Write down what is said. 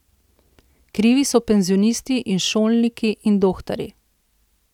Krivi so penzionisti in šolniki in dohtarji.